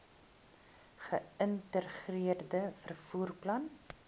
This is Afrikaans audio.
geïntegreerde vervoer plan